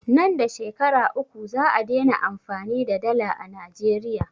Nan da Shekara uku za'a dena amfani da dala a Najeriya.